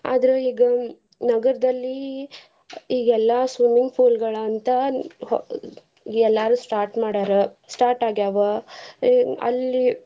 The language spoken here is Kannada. ಆದ್ರ ಈಗ ನಗರ್ದಲ್ಲಿ ಇಗ ಎಲ್ಲಾ swimming pool ಗಳಂತ ಹೊ~ ಎಲ್ಲರೂ start ಮಾಡ್ಯಾರ start ಆಗ್ಯಾವ ಅಲ್ಲಿ.